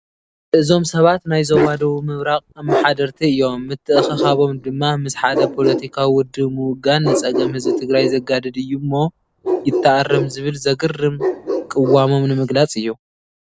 እዞም ሰባት ናይ ዞባ ደቡብ ምብራቕ ኣመሓደርቲ እዮም፡፡ ምትእኽኻቦም ድማ ምስ ሓደ ፖለቲካዉ ውድብ ምውጋን ንፀገም ህዝቢ ትግራይ ዘጋድድ እዩ እሞ ይተኣረም ዝብል ዘግርም ቅዋሞም ንምግላፅ እዩ፡፡